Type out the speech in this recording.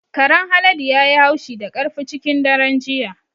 Karen Haladu ya yi haushi da ƙarfi cikin daren jiya.